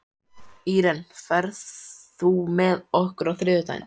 Íren, ferð þú með okkur á þriðjudaginn?